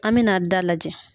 An mɛ na da lajɛ.